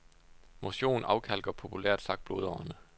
Motion afkalker populært sagt blodårerne.